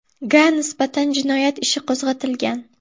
ga nisbatan jinoyat ishi qo‘zg‘atilgan.